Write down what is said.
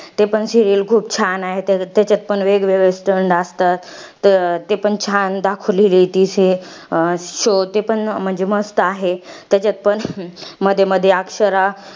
ते पण serial खूप छान आहे. त्याच्या त्याच्यात पण वेगवेगळे stunt असतात. ते पण छान दाखवलेली आहे ती serial. अं show ते पण म्हणजे मस्त आहे. त्याच्यात पण मध्ये मध्ये अक्षरा,